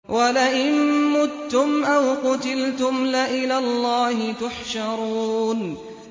وَلَئِن مُّتُّمْ أَوْ قُتِلْتُمْ لَإِلَى اللَّهِ تُحْشَرُونَ